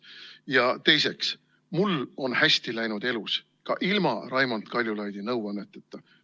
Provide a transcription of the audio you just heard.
Ja teiseks, mul on elus hästi läinud ka ilma Raimond Kaljulaidi nõuanneteta.